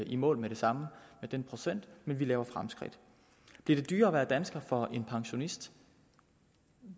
i mål med det samme med den procent men vi gør fremskridt bliver det dyrere at være dansker for en pensionist